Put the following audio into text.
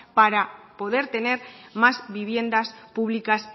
asap para poder tener más viviendas públicas